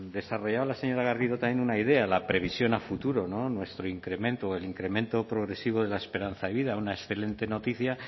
desarrollaba la señora garrido también una idea la previsión a futuro no nuestro incremento el incremento progresivo de la esperanza de vida una excelente noticia